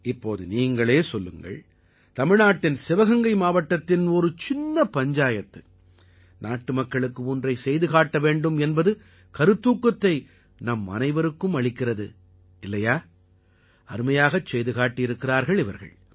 இப்போது நீங்களே சொல்லுங்கள் தமிழ்நாட்டின் சிவகங்கை மாவட்டத்தின் ஒரு சின்ன பஞ்சாயத்து ஒன்றை செய்து காட்டவேண்டும் என்ற கருத்தூக்கத்தை நம்மனைவருக்கும் அளிக்கிறது இல்லையா அருமையாகச் செய்து காட்டியிருக்கிறார்கள் இவர்கள்